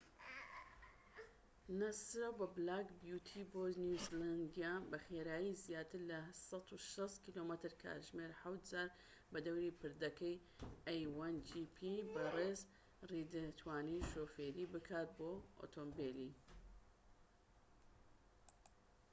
بەڕێز ڕید توانی شۆفێری بکات بۆ ئۆتۆمبیلی a1gp ی ناسراو بە بلاک بیوتی بۆ نیوزیلەندە بە خێرایی زیاتر لە 160 کم/کاتژمێر حەوت جار بەدەوری پردەکەدا